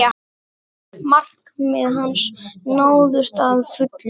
Markmið hans náðust að fullu.